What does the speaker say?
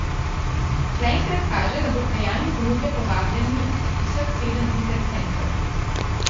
Zaenkrat kaže, da bo k dejanju ponudbe povabljeni vseh sedem interesentov.